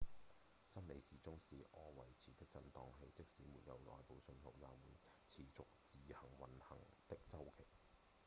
生理時鐘是自我維持的振盪器即使沒有外部信號也會持續自主運行的週期